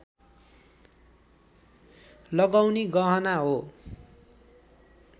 लगाउने गहना हो